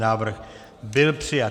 Návrh byl přijat.